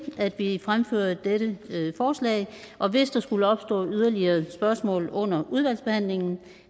at vi fremfører dette forslag og hvis der skulle opstå yderligere spørgsmål under udvalgsbehandlingen